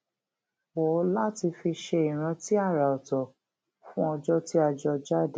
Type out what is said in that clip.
wò láti fi ṣe ìrántí àrà òtò fún ọjó tí a jọ jáde